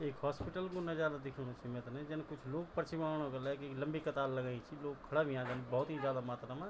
ऐक हॉस्पिटल कु नजारा दिखेणु च मैथे ना यु जन कुछ लोग पर्ची बणौणा कु लगी लंबी कतार लगईं च लोग खडा हुंया छन भौत ही जादा मात्रा मा।